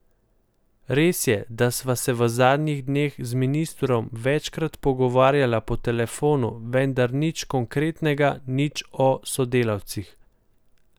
Res je, da sva se v zadnjih dneh z ministrom večkrat pogovarjala po telefonu, vendar nič konkretnega, nič o sodelavcih.